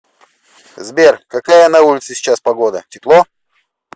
сбер какая на улице сейчас погода тепло